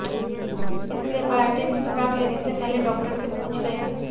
इसलिये बायोटिन की खुराक लेने से पहले डॉक्टर से पूछ लें